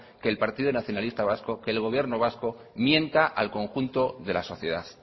que el partido nacionalista vasco que el gobierno vasco mienta al conjunto de la sociedad